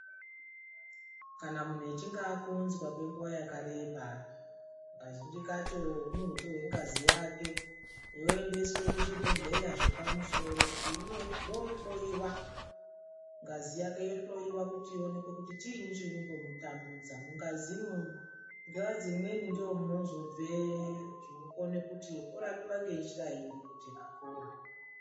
Kana muntu achinge akonzwa kwenguva yakareba kazhinji kacho unozotorwa ngazi yake yoendeswa kuzvibhehlera zvepamusoro kuti rohloiwa ngazi yake yohloiwa kuti chinyi chinombokutambudza mungazi nguwa dzimweni ndimo munezobve zvekuti urapiwe nenjira iri kuti upore